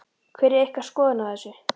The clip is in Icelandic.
Hver er ykkar skoðun á þessu?